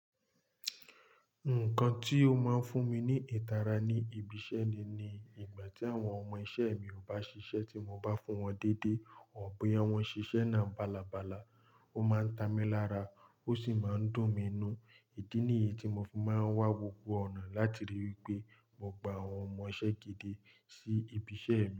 Nǹkan tí ó máa ń fún mi ní ìtara ní ibi iṣẹ́ mi ní ìgbà tí àwọn ọmọ iṣẹ́ mi ò bá ṣiṣẹ́ tí mo bá fún wọn déédé or boya wọ́n ṣiṣẹ́ náà balàbalà, ó máa ń ta mi lára ó sì máa ń dùn mi inú. Ìdí nìyí tí mo fi máa ń wá gbogbo ọ̀nà láti rí wí pé mo gba àwọn ọmọ iṣẹ́ gidi sí ibi iṣẹ́ mi.